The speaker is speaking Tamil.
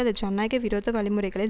அது ஜனநாயக விரோத வழிமுறைகளில்